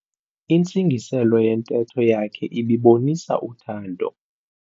Intsingiselo yentetho yakhe ibibonisa uthando.